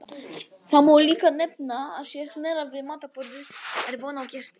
Þá má líka nefna að sé hnerrað við matarborðið er von á gesti.